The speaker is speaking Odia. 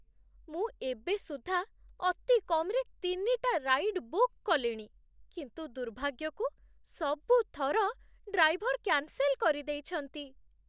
ମୁଁ ଏବେ ସୁଦ୍ଧା ଅତି କମ୍‌ରେ ତିନିଟା ରାଇଡ୍ ବୁକ୍ କଲିଣି, କିନ୍ତୁ, ଦୁର୍ଭାଗ୍ୟକୁ ସବୁ ଥର ଡ୍ରାଇଭର୍ କ୍ୟାନ୍ସେଲ୍ କରିଦେଇଛନ୍ତି ।